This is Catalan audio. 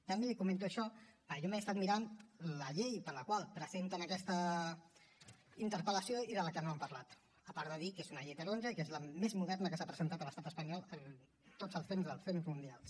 també li comento això perquè jo m’he estat mirant la llei per la qual presenten aquesta interpel·lació i de la que no han parlat a part de dir que és una llei taronja i que és la més moderna que s’ha presentat a l’estat espanyol en tots els temps dels temps mundials